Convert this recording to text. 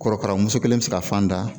Korokara muso kelen bɛ se ka fan da